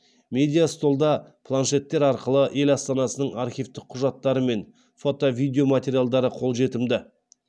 медиа столда планшеттер арқылы ел астанасының архивтік құжаттары мен фото видео материалдары қолжетімді